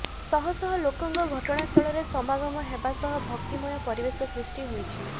ସହ ସହ ଲୋକଙ୍କ ଘଟଣାସ୍ଥଳରେ ସମାଗମ ହେବା ସହ ଭକ୍ତିମୟ ପରିବେଶ ସୃଷ୍ଟି ହୋଇଛି